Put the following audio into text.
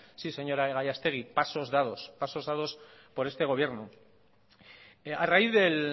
sí señora gallastegi pasos dados pasos dados por este gobierno a raíz del